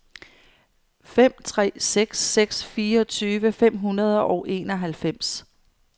fem tre seks seks fireogtyve fem hundrede og enoghalvfems